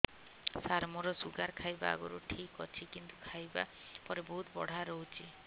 ସାର ମୋର ଶୁଗାର ଖାଇବା ଆଗରୁ ଠିକ ଅଛି କିନ୍ତୁ ଖାଇବା ପରେ ବହୁତ ବଢ଼ା ରହୁଛି